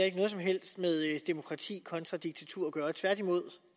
ikke noget som helst med demokrati kontra diktatur at gøre tværtimod